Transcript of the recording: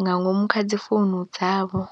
nga ngomu kha dzi founu dzavho.